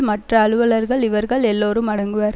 மற்ற அலுவலர்கள் இவர்கள் எல்லோரும் அடங்குவர்